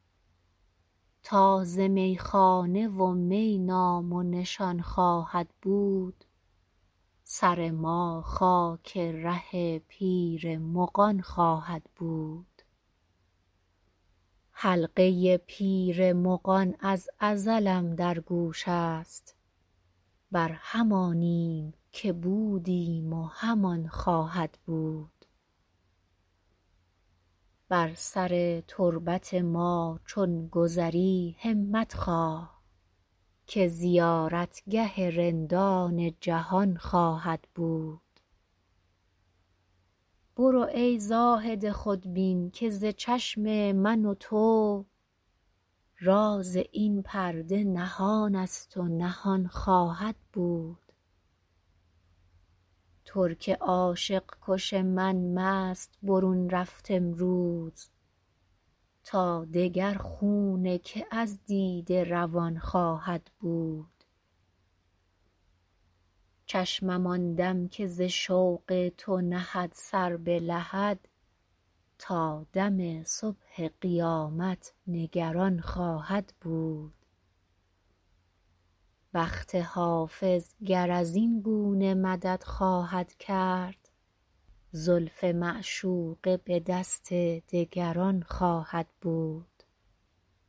تا ز میخانه و می نام و نشان خواهد بود سر ما خاک ره پیر مغان خواهد بود حلقه پیر مغان از ازلم در گوش است بر همانیم که بودیم و همان خواهد بود بر سر تربت ما چون گذری همت خواه که زیارتگه رندان جهان خواهد بود برو ای زاهد خودبین که ز چشم من و تو راز این پرده نهان است و نهان خواهد بود ترک عاشق کش من مست برون رفت امروز تا دگر خون که از دیده روان خواهد بود چشمم آن دم که ز شوق تو نهد سر به لحد تا دم صبح قیامت نگران خواهد بود بخت حافظ گر از این گونه مدد خواهد کرد زلف معشوقه به دست دگران خواهد بود